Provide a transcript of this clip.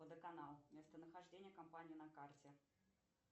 водоканал местонахождение компании на карте